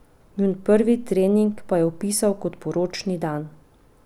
Njun prvi trening pa je opisal kot poročni dan!